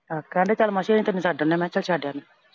ਆਹੋ ਕਹਿੰਦੇ ਚੱਲ ਮਾਸੀ ਅਸੀਂ ਛੱਡ ਆਉਣੇ ਆਂ। ਮੈਂ ਕਿਹਾ ਚੱਲ ਛੱਡ ਆ।